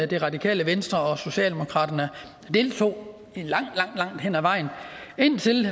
det radikale venstre og socialdemokraterne deltog langt langt hen ad vejen indtil